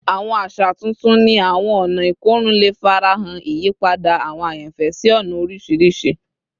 Awọn aṣa tuntun ni awọn ọna ikorun le farahan, iyipada awọn ayanfẹ si ọna oriṣiriṣi